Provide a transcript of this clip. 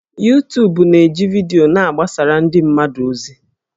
Yutubu na-eji vidiyo na-agbasara ndị mmadụ ozi